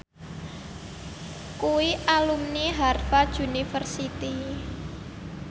kuwi alumni Harvard university